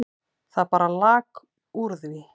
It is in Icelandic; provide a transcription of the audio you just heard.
Það bara lak úr því.